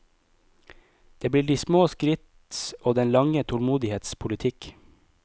Det blir de små skritts og den lange tålmodighets politikk.